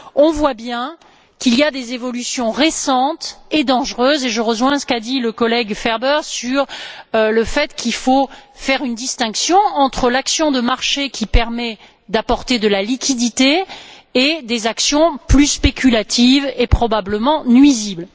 Nous voyons bien qu'il y a des évolutions récentes et dangereuses et je rejoins ce qu'a dit le collègue Ferber sur le fait qu'il faut faire une distinction entre l'action de marché qui permet d'apporter de la liquidité et des actions plus spéculatives et probablement nuisibles.